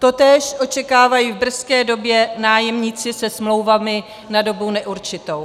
Totéž očekávají v brzké době nájemníci se smlouvami na dobu neurčitou.